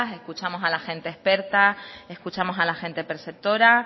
escuchamos a la gente experta escuchamos a la gente preceptora